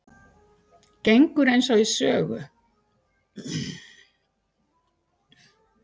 Gengur eins og í sögu